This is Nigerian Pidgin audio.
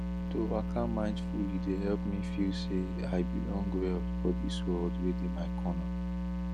to waka mindfully dey help me feel say i belong well for this world wey dey my corner